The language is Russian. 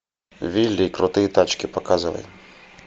вилли и крутые тачки показывай